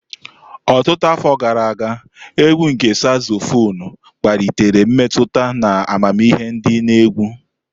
Ọtụtụ afọ gara aga, égwù nke Sazofonu kpalitere mmetụta na amamihe di na egwu.